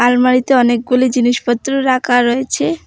আলমারিতে অনেকগুলি জিনিসপত্র রাখা রয়েছে।